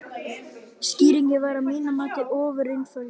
Skýringin væri að mínu mati ofureinföld.